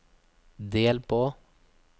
del på